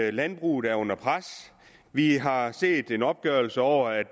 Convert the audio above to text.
at landbruget er under pres vi har set en opgørelse over at